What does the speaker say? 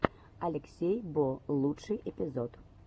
алексей бо лучший эпизод